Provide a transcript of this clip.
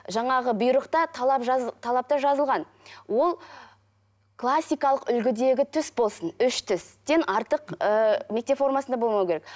жаңағы бұйрықта талап талапта жазылған ол классикалық үлгідегі түс болсын үш түстен артық ыыы мектеп формасында болмау керек